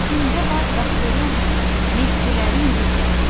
Səsində var qafurun, Mehdilərin qüdrəti.